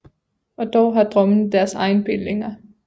Og dog har drømmene deres egne bindinger